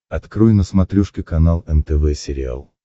открой на смотрешке канал нтв сериал